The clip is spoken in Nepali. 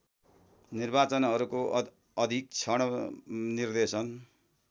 निर्वाचनहरूको अधीक्षण निर्देशन